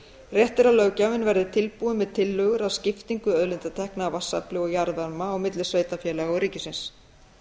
rétt er að löggjafinn verði tilbúinn með tillögur að skiptingu auðlindatekna af vatnsafli og jarðvarma á milli sveitarfélaga og ríkisins